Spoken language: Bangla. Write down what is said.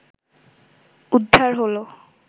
উদ্ধার হলো